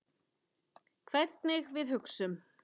Hvernig við hugsum.